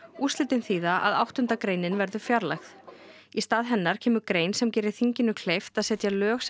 úrslitin þýða að áttunda greinin verður fjarlægð í stað hennar kemur grein sem gerir þinginu kleift að setja lög sem